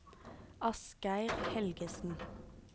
Asgeir Helgesen